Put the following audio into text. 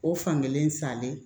O fankelen salen